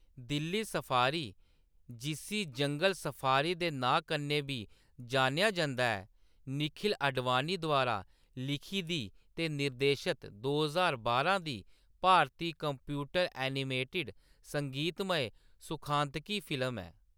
Delhi safari जिस्सी जंगल safari दे नांऽ कन्नै बी जानेआ जंदा ऐ निखिल आडवाणी द्वारा लिखी दी ते निर्देशित दो ज्हार बारां दी भारती कंप्यूटर-एनिमेटेड संगीतमय सुखांतकी फिल्म ऐ।